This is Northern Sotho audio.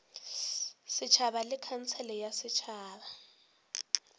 setšhaba le khansele ya setšhaba